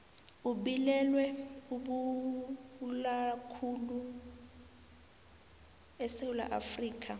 ubilwelwe obubulalakhulu esewula afrikha